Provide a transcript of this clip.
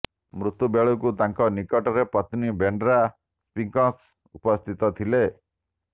ମୃତ୍ୟୁବେଳକୁ ତାଙ୍କ ନିକଟରେ ପତ୍ନୀ ବ୍ରେଣ୍ଡା ସ୍ପିଙ୍କସ୍ ଉପସ୍ଥିତ ଥିଲେ